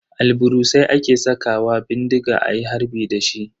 Albarusai ake sakawa bindiga ayi harbi dashi.